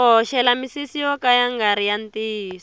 ku hoxela misisi yo ka ya ngari ya ntiyiso